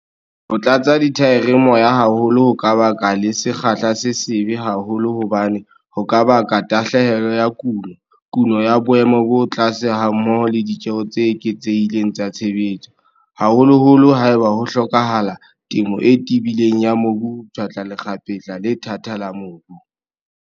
Ho tlatsa dithaere moya haholo ho ka baka le sekgahla se sebe haholo hobane ho ka baka tahlehelo ya kuno, kuno ya boemo bo tlase hammoho le ditjeo tse eketsehileng tsa tshebetso, haholoholo haeba ho hlokahala temo e tebileng ya mobu ho pshatla lekgapetla le thata la mobu.